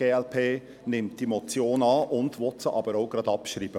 Die glp nimmt die Motion an und will sie auch gleich abschreiben.